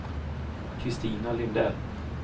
Christina Lindell